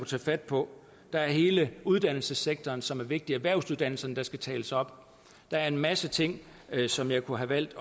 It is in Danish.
tage fat på der er hele uddannelsessektoren som er vigtig erhvervsuddannelserne der skal tales op der er en masse ting som jeg kunne have valgt